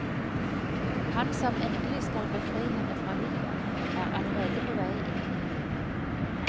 Han som endelig skal befri henne fra livet, er allerede på vei inn i hulen.